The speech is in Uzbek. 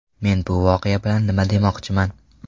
Men bu voqea bilan nima demoqchiman?